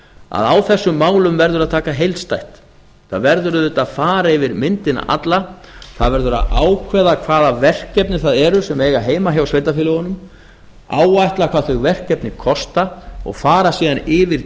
að á þessum málum verður að taka heildstætt það verður auðvitað að fara yfir myndina alla það verður að ákveða hvaða verkefni það eru sem eiga heima hjá sveitarfélögunum áætla hvað þau verkefni kosta og fara síðan yfir